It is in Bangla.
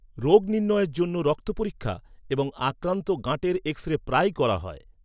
রোগ নির্ণয়ের জন্য রক্ত পরীক্ষা এবং আক্রান্ত গাঁটের এক্স রে প্রায়ই করা হয়।